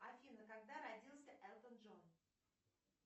афина когда родился элтон джон